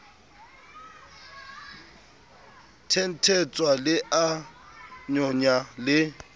thenthetswa le a nyonya le